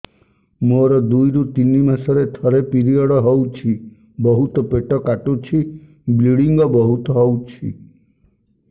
ମୋର ଦୁଇରୁ ତିନି ମାସରେ ଥରେ ପିରିଅଡ଼ ହଉଛି ବହୁତ ପେଟ କାଟୁଛି ବ୍ଲିଡ଼ିଙ୍ଗ ବହୁତ ହଉଛି